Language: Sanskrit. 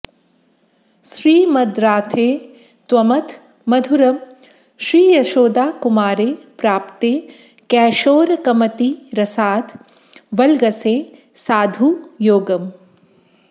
श्रीमद्राधे त्वमथ मधुरं श्रीयशोदाकुमारे प्राप्ते कैशोरकमतिरसाद् वल्गसे साधुयोगम्